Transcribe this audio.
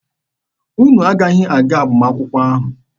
Unu aghaghị aga agbamakwụkwọ ahụ.